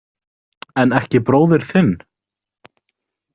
En ekki bróðir þinn?